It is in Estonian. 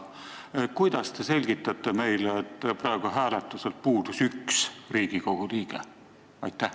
Kuidas te selgitate meile, et praegu hääletuselt puudus 1 Riigikogu liige?